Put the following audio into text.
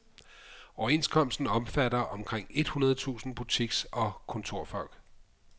Overenskomsten omfatter omkring et hundrede tusind butiks og kontorfolk.